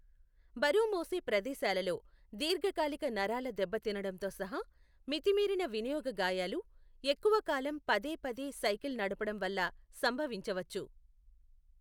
బరువు మోసే ప్రదేశాలలో దీర్ఘకాలిక నరాల దెబ్బతినడంతో సహా మితిమీరిన వినియోగ గాయాలు, ఎక్కువ కాలం పదే పదే సైకిల్ నడపడం వల్ల సంభవించవచ్చు.